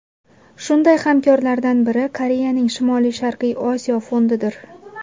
Shunday hamkorlardan biri Koreyaning Shimoli-Sharqiy Osiyo fondidir.